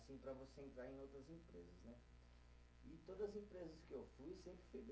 Para você entrar em outras empresas, né? E todas empresas que eu fui, sempre fui bem